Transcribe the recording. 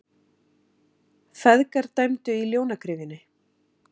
Feðgar dæmdu í Ljónagryfjunni